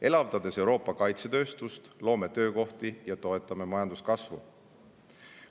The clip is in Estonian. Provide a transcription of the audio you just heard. Elavdades Euroopa kaitsetööstust, loome töökohti ja toetame majanduskasvu.